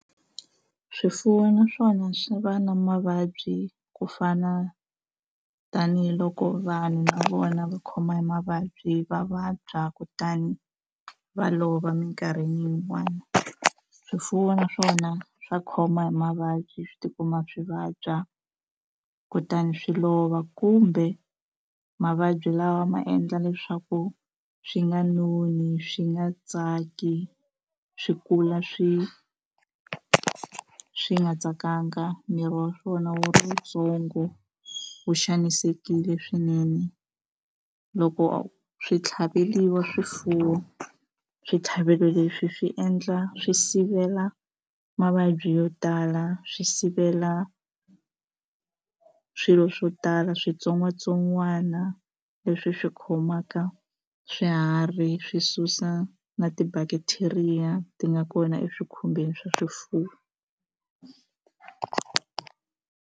Swifuwo naswona swi va na mavabyi ku fana tanihiloko vanhu na vona va khoma hi mavabyi va vabya kutani va lova eminkarhini yin'wana swifuwo naswona swa khoma hi mavabyi swi tikuma swi vabya kutani swi lova kumbe mavabyi lawa ma endla leswaku swi nga noni swi nga tsaki swi kula swi swi nga tsakanga miri wa swona wu ri wu tsongo wu xanisekile swinene loko swi tlhaveliwa swifuwo switlhavelo leswi swi endla swi sivela mavabyi yo tala swi sivela swilo swo tala switsongwatsongwana leswi swi khomaka swiharhi swi susa na ti-bacteria ti nga kona eswikhumbeni swa swifuwo.